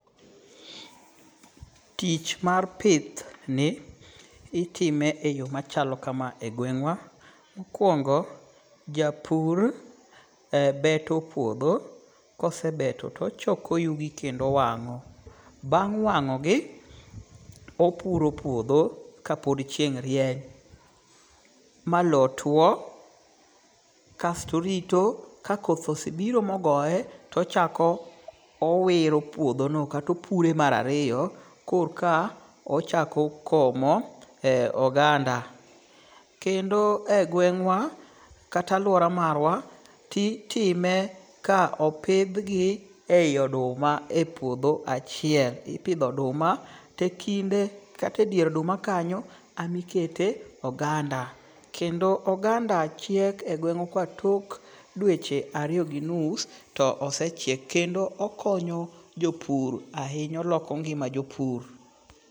Tich mar pith ni itime e yo machalo kama e gweng'awa. Mokwongo japur beto puodho. Kosebeto tochoko yugi kendo owang'o. Bang' wang'ogi opuro puodho ka pod chieng' rieny ma low tuo. Kasto orito ka koth osebiro mogoye, tochako owiro puodho no kato pure mar ariyo. Korka ochako komo oganda. Kendo e gweng'wa kata aluora marwa, ti time ka opidh gi e yi oduma e puodho achiel. Ipidho oduma to ekinde kata e dier oduma kanyo emikete oganda. Kendo ogang'a chiek e gweng'wa ka tok dweche ariyo gi nus to osechiek. To okonyo jopur ahinya. Oloko ngima jopur.